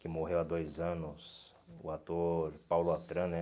que morreu há dois anos, o ator Paulo Atran, né?